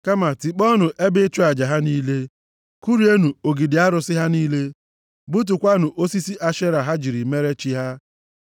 Kama, tikpọọnụ ebe ịchụ aja ha niile. Kụrienụ ogidi arụsị ha niile. Gbutukwaanụ osisi Ashera ha jiri mere chi ha.